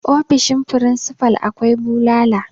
ofoshin frisifal akwai bulala